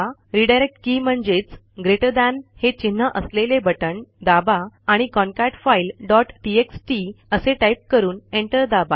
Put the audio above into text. redirect के म्हणजेच greater than GT हे चिन्ह असलेले बटण दाबा आणि कॉन्केटफाईल डॉट टीएक्सटी असे टाईप करून एंटर दाबा